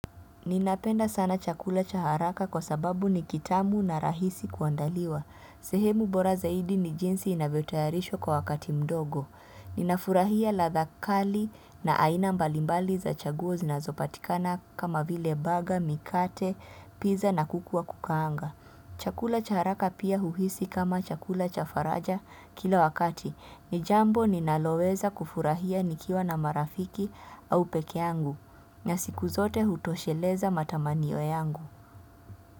Ninapenda sana chakula cha haraka kwa sababu ni kitamu na rahisi kuandaliwa. Sehemu bora zaidi ni jinsi inavyotayarishwa kwa wakati mdogo. Ninafurahia ladha kali na aina mbalimbali za chaguo zinazopatikana kama vile burger mikate pizza na kuku wa kukaanga chakula cha haraka pia huhisi kama chakula cha faraja kila wakati. Ni jambo ninaloweza kufurahia nikiwa na marafiki au pekee yangu. Na siku zote hutosheleza matamanio yangu.